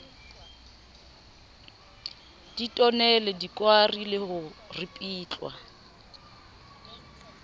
ditonele dikwari le ho ripitlwa